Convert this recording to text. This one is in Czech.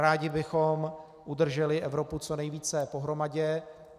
Rádi bychom udrželi Evropu co nejvíce pohromadě.